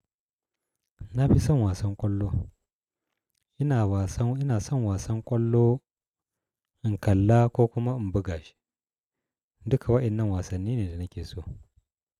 Na fi son wasan ƙwallo. Ina wasan, ina son wasan ƙwallo, in kalla ko kuma in buga shi. Duka waɗannan wasanni ne da nake so.